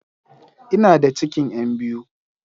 Ina da cikin yan biyu